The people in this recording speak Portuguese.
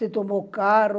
Se tomou carro.